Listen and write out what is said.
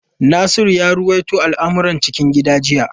Nasiru ya ruwaito al’amuran cikin gida jiya.